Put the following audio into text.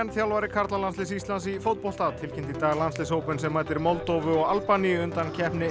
þjálfari karlalandsliðs Íslands í fótbolta tilkynnti í dag landsliðshópinn sem mætir Moldóvu og Albaníu í undankeppni